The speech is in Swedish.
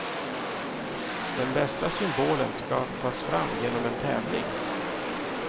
Den bästa symbolen ska tas fram genom en tävling.